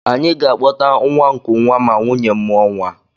Any ga-akpọta nwa nkụnwa ma nwunye m mụọ nwa